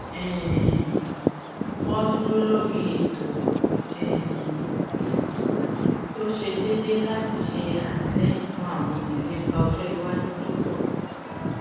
um wón dúró lórí ètò um tó ṣe déédé láti ṣe àtìlẹyìn fún àwọn ìlépa ọjọ iwájú tó pọ